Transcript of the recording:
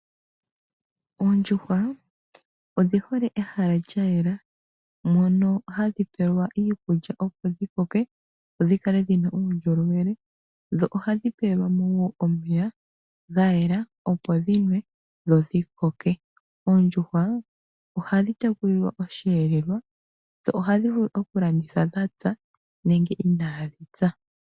Oondjuhwa odhi hole ehala lya yela mono hadhi pelwa iikulya opo dhi kale dhina uundjolowele dho ohadhi pelwa mo woo omeya ga yela opo dhinwe dho dhikoke . Oondjuhwa ohadhi tekulilwa osheelelwa dho ohadhi vulu okulandithwa dhapya nenge inaadhi pya.